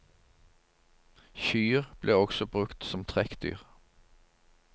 Kyr ble også brukt som trekkdyr.